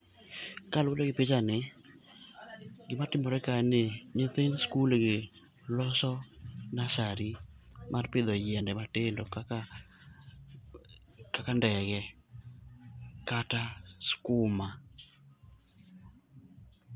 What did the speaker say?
Kaluwore gi picha ni, gimatimore ka en ni nyithind skul gi loso nasari mar pidho yiende matindo kaka ndege kata skuma.